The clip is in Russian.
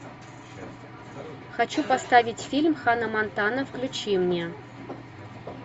хочу поставить фильм ханна монтана включи мне